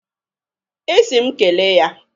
Ị sị m kele ya.